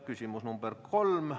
Küsimus nr 3.